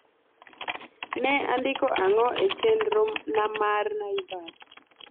ne andiko ang`o e chendro na mar naivas